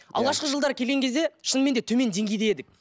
алғашқы жылдары келген кезде шынымен де төмен деңгейде едік